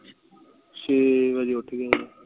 ਛੇ ਬਜੇ ਉੱਠ ਗਿਆ ਸੀ